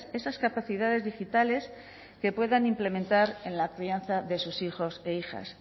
esas capacidades digitales que puedan implementar en la crianza de sus hijos e hijas